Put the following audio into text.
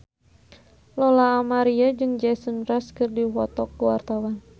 Lola Amaria jeung Jason Mraz keur dipoto ku wartawan